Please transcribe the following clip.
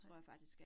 Nej